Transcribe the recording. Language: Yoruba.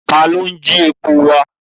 Ta ló ń jí epo wà?